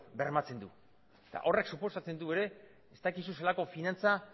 bermatzen du eta horrek suposatzen du ere ez dakizu zelako finantza